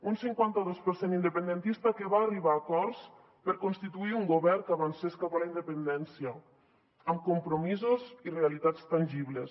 un cinquanta dos per cent independentista que va arribar a acords per constituir un govern que avancés cap a la independència amb compromisos i realitats tangibles